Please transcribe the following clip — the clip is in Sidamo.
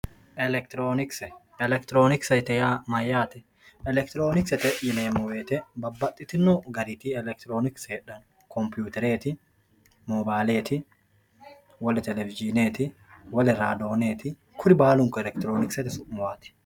elektiroonikise elektiroonikisete yaa mayyaate elektiroonikisete yineemo woyiite babbaxitino gariti elektiroonikise heedhanno komputereeti, moobaaleet, wole televishiineeti, wole radooneeti kuri baalunku elektiroonikisete su'maati.